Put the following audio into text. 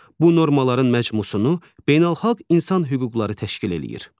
Bu normaların məcmusunu beynəlxalq insan hüquqları təşkil eləyir.